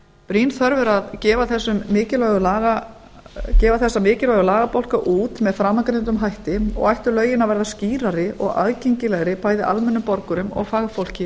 brýn þörf er að gefa þessa mikilvægu lagabálka út með framangreindum hætti og ættu lögin að verða skýrari og aðgengilegri bæði almennum borgurum og fagfólki